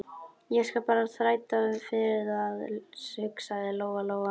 Ég skal bara þræta fyrir það, hugsaði Lóa Lóa.